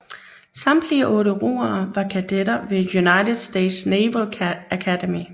Samtlige otte roere var kadetter ved United States Naval Academy